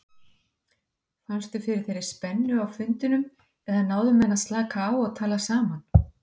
Fannstu fyrir þeirri spennu á fundinum eða náðu menn að slaka á og tala saman?